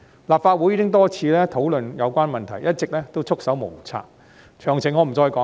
立法會已經多次討論有關問題，一直都束手無策，詳情我不再說了。